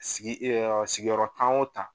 Sigi sigiyɔrɔ tan o tan